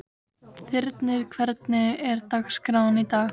Þyrnir, hvernig er dagskráin í dag?